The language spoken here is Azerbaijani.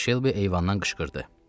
Missis Şelbi eyvandan qışqırdı.